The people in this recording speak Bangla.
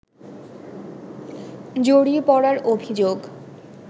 জড়িয়ে পড়ার অভিযোগ